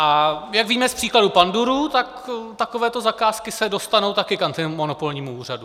A jak víme z příkladu pandurů, tak takovéto zakázky se dostanou také k antimonopolnímu úřadu.